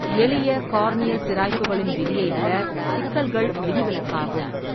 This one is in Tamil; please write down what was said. எளிய கார்னியல் சிராய்ப்புகளின் விதியை விட சிக்கல்கள் விதிவிலக்காகும்.